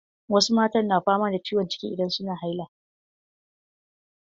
Wasu matan na fama da ciwon ciki idan suna haila.